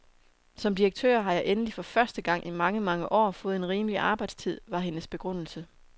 Som direktør har jeg endelig for første gang i mange, mange år fået en rimelig arbejdstid, var hendes begrundelse.